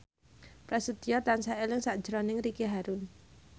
Prasetyo tansah eling sakjroning Ricky Harun